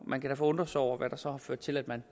man kan da undre sig over hvad der så har ført til at man